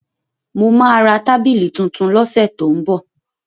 Mo máa ra tábìlì tuntun lọ́sẹ̀ tó ń bọ̀.